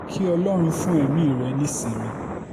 kí ọlọ́run fún ẹ̀mí rẹ̀ ní ìsinmi